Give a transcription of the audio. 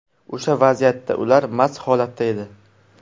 O‘sha vaziyatda ular mast holatda edi.